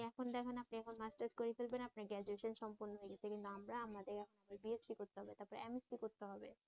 এখন দেখেন আপনে এখন মাস্টার্স শেষ করে ফেলবেন গ্রাজুয়েশন সম্পন্ন হয়ে গেছে কিন্তু আমরা আমাদের বিএসসি করতে হবে তারপরে এমএসসি করতে হবে